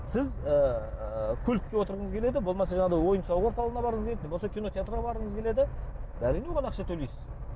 сіз ыыы көлікке отырғыңыз келеді болмаса жаңағыдай ойын сауық орталығына барғыңыз келеді не болмаса кинотеатрға барғыңыз келеді әрине оған ақша төлейсіз